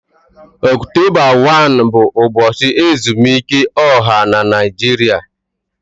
Ọktọba 1 bụ ụbọchị ezumike ọha na Naịjirịa